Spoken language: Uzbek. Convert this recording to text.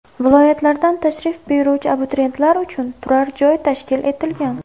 Viloyatlardan tashrif buyuruvchi abituriyentlar uchun turar-joy tashkil etilgan.